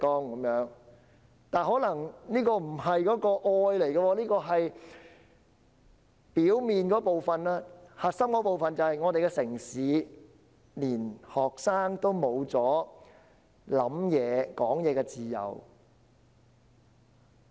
然而，這可能只是愛的表面部分，核心的部分是在我們的城市，連學生也失去了思考及言論的自由。